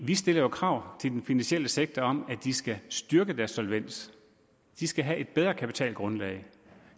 vi stiller jo krav til den finansielle sektor om at de skal styrke deres solvens de skal have et bedre kapitalgrundlag